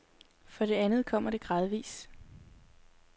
For det andet kommer det gradvis.